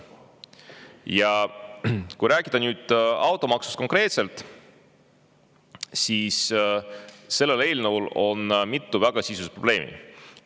Ja kui rääkida nüüd konkreetselt automaksust, siis selle eelnõu puhul on mitu väga sisulist probleemi.